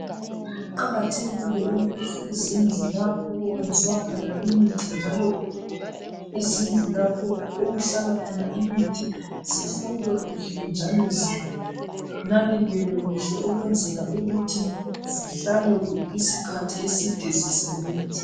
Kuqakathekile ukuthi izindlu lapho okwenziwa khona imithi, njalo, izindlu lapho okuhlala khona imithi, zihlolwe kuhle njalo zinakekelwe kuhle ukwenzela ukuthi zihlale isikhathi eside zisebenza.